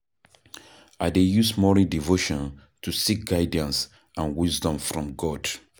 I dey use morning devotion to seek guidance and wisdom from God.